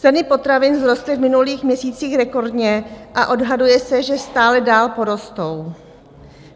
Ceny potravin vzrostly v minulých měsících rekordně a odhaduje se, že stále dál porostou.